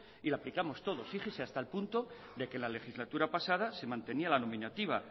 y la aplicamos todos fíjese hasta el punto de que la legislatura pasada se mantenía la nominativa